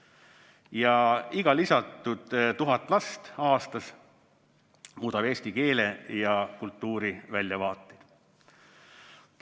Ja iga lisandunud 1000 last aastas muudab eesti keele ja kultuuri väljavaateid.